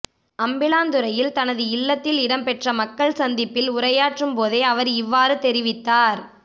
அம்பிளாந்துறையில் தனது இல்லத்தில் இடம்பெற்ற மக்கள் சந்திப்பில் உரையாற்றும் போதே அவர் இவ்வாறு தெரிவித்தார்